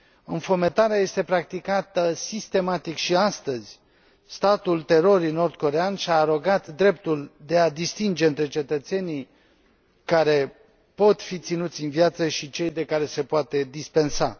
Înfometarea este practicată sistematic și astăzi, statul terorii nord corean și a arogat dreptul de a distinge între cetățenii care pot fi ținuți în viață și cei de care se poate dispensa.